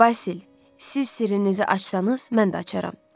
Basil, siz sirrinizi açsanız, mən də açaram.